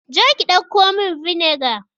Je ki dauko min vinegar.